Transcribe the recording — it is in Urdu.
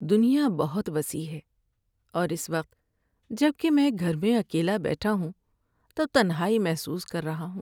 دنیا بہت وسیع ہے اور اس وقت جب کہ میں گھر میں اکیلا بیٹھا ہوں تو تنہائی محسوس کر رہا ہوں۔